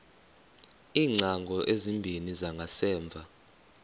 iingcango ezimbini zangasemva